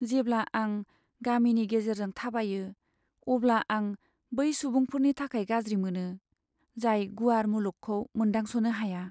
जेब्ला आं गामिनि गेजेरजों थाबायो, अब्ला आं बै सुबुंफोरनि थाखाय गाज्रि मोनो, जाय गुवार मुलुगखौ मोनदांस'नो हाया।